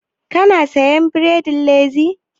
Ka na siyan bredin Laziz?